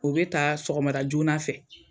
O bɛ ta sɔgɔmara joona fɛ.